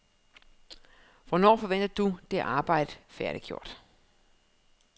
Hvornår forventer du det arbejde færdiggjort?